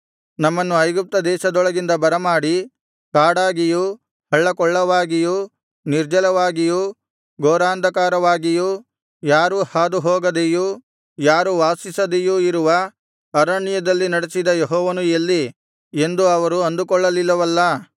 ನಮ್ಮನ್ನು ಐಗುಪ್ತ ದೇಶದೊಳಗಿಂದ ಬರಮಾಡಿ ಕಾಡಾಗಿಯೂ ಹಳ್ಳಕೊಳ್ಳವಾಗಿಯೂ ನಿರ್ಜಲವಾಗಿಯೂ ಘೋರಾಂಧಕಾರವಾಗಿಯೂ ಯಾರೂ ಹಾದುಹೋಗದೆಯೂ ಯಾರೂ ವಾಸಿಸದೆಯೂ ಇರುವ ಅರಣ್ಯದಲ್ಲಿ ನಡೆಸಿದ ಯೆಹೋವನು ಎಲ್ಲಿ ಎಂದು ಅವರು ಅಂದುಕೊಳ್ಳಲಿಲ್ಲವಲ್ಲ